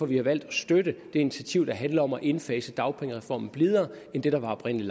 vi har valgt at støtte det initiativ der handler om at indfase dagpengereformen blidere end det der oprindelig